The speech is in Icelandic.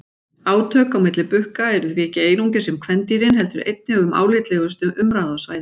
Átök á milli bukka eru því ekki einungis um kvendýrin heldur einnig um álitlegustu umráðasvæðin.